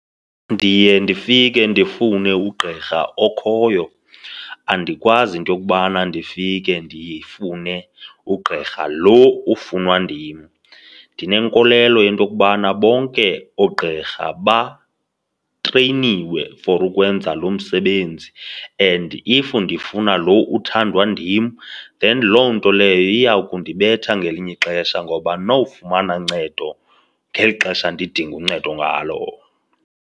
Ndiye ndifike ndifune ugqirha okhoyo. Andikwazi into yokubana ndifike ndifune ugqirha lo ufunwa ndim. Ndinenkolelo into yokubana bonke oogqirha batreyniwe for ukwenza lo msebenzi and if ndifuna lo uthandwa ndim then loo nto leyo iya kundibetha ngelinye ixesha ngoba andinowufumana uncedo ngeli xesha ndidinga uncedo ngalo.